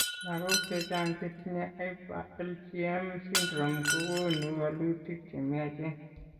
Lagok chechang chetinye hyper Igm syndrome kogonu walutik chemyach en